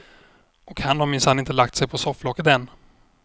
Och han har minsann inte lagt sig på sofflocket än.